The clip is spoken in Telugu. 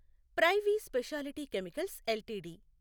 privy speciality chemicals LTD